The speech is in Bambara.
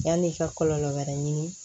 Yan'i ka kɔlɔlɔ wɛrɛ ɲini